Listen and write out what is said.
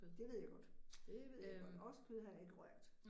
Det ved jeg godt, det ved jeg godt, oksekød har jeg ikke rørt